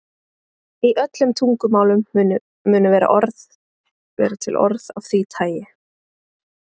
Í öllum tungumálum munu vera til orð af því tagi.